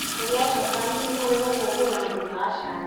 Kũrĩa njabani nĩ kũrĩ kũngũĩra mũthenya wa cai.